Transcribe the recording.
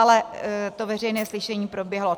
Ale to veřejné slyšení proběhlo.